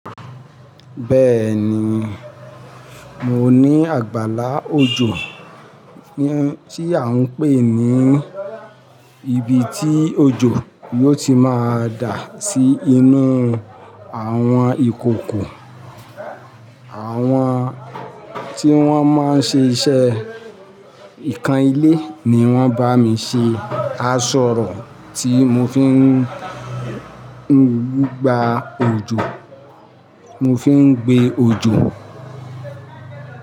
Bẹ́ẹ̀ni, mo ní àgbàlá òjò, hun tí à ń pè ní ibi tí òjò yóò ti máa dà sí inú àwọn ìkòkò, àwọn tí wọ́n máa ń ṣe iṣẹ́ ikan ilé ni wón bá mi ṣe aṣọrò tí mo fi ń gba òjò, mo fi ń gbé òjò.